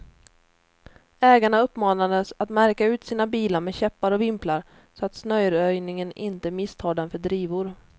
Ägarna uppmanades att märka ut sina bilar med käppar och vimplar, så att snöröjningen inte misstar dem för drivor.